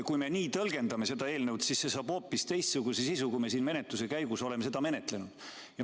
Kui me nii tõlgendame seda eelnõu, siis see saab hoopis teistsuguse sisu, kui me siin menetluse käigus oleme seda taotlenud.